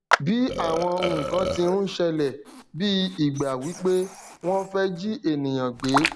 bí àwọn nnkan tí ń ṣẹlẹ bí ìgbà wípé wón fẹ jí ènìyàn gbé